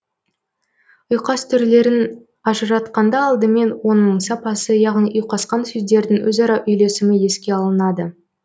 ұйқас түрлерін ажыратқанда алдымен оның сапасы яғни ұйқасқан сөздердің өзара үйлесімі еске алынады